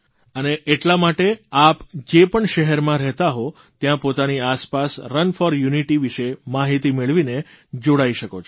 અને એટલા માટે આપ જે પણ શહેરમાં રહેતા હો ત્યાં પોતાની આસપાસ રન ફોર યુનિટી વિષે માહીતી મેળવીને જોડાઇ શકો છો